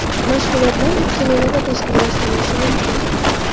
Mashg‘ulotlar uch smenada tashkillashtirilishi mumkin.